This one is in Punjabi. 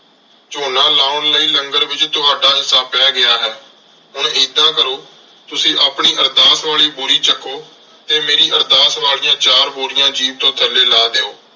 ਝੋਨਾ ਲਾਉਣ ਲਈ ਲੰਗਰ ਵਿਚ ਤੁਹਾਡਾ ਹਿੱਸਾ ਪੈ ਗਿਆ ਹੈ ਹੁਣ ਏਦਾਂ ਕਰੋ ਤੁਸੀਂ ਆਪਣੀ ਅਰਦਾਸ ਵਾਲੀ ਬੋਰੀ ਚੱਕੋ ਤੇ ਮੇਰੀ ਅਰਦਾਸ ਵਾਲੀਆਂ ਚਾਰ ਬੋਰੀਆਂ ਜੀਪ ਤੋਂ ਥੱਲੇ ਲਾਹ ਦਿਓ।